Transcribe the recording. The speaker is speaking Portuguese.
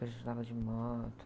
Que a gente de moto.